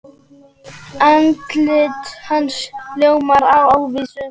Andlit hans ljómar af óvissu.